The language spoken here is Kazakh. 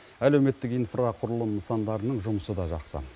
әлеуметтік инфрақұрылым нысандарының жұмысы да жақсы